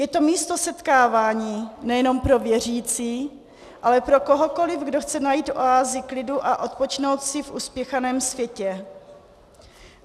Je to místo setkávání nejenom pro věřící, ale pro kohokoliv, kdo chce najít oázu klidu a odpočinout si v uspěchaném světě.